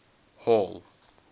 hall